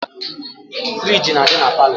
Friji na adi na parlour.